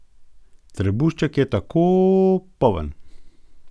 Trebušček je takoooo poln!